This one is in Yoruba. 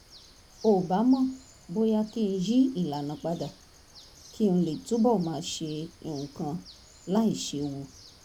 ò bá mọ̀ bóyá kí n yí ìlànà padà kí n lè túbọ̀ máa ṣe nǹkan láìséwu